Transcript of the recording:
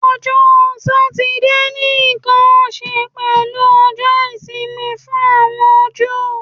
Ọjọ Satidee ni nkan ṣe pẹlu Ọjọ isimi fun awọn Ju